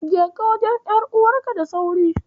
Jeka wajen ƴar'uwarka da sauri.